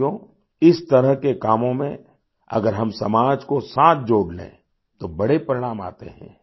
साथियोइस तरह के कामों में अगर हम समाज को साथ जोड़ लें तो बड़े परिणाम आते हैं